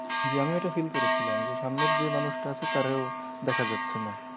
জি আমিও ওটা feel করেছিলাম যে সামনের যেই মানুষটা আছে তারেও দেখা যাচ্ছেনা।